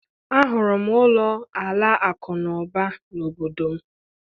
Ahụrụ m ụlọ Alakụba n'obodo m